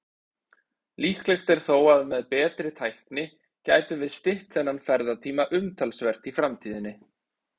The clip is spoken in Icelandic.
Líklegt er þó að með betri tækni gætum við stytt þennan ferðatíma umtalsvert í framtíðinni.